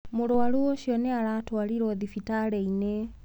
Mũrwaru ũcio nĩ atwarirwo thibitarĩ-inĩ.